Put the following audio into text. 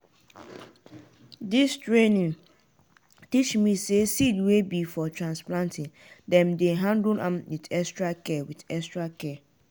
dis training teach me say seed wey be for transplanting dem dey handle am with extra care. with extra care.